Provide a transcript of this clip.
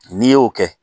N'i y'o kɛ